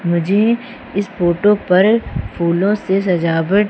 मुझे इस फोटो पर फूलों से सजावट--